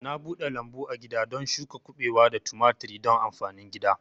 Na bude lambu agida don shuka kubewa da tumaturi don amfanin gida